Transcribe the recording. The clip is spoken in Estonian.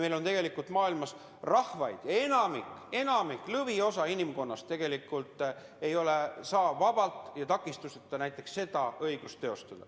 Maailmas palju rahvaid, õigemini enamik, lõviosa inimkonnast, kes ei saa vabalt ja takistusteta seda õigust teostada.